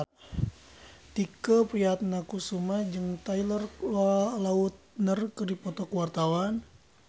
Tike Priatnakusuma jeung Taylor Lautner keur dipoto ku wartawan